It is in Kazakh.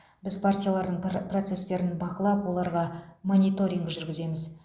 біз партиялардың процестерін бақылап оларға мониторинг жүргіземіз